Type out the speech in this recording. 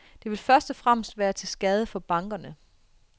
Det vil først og fremmest være til skade for bankerne.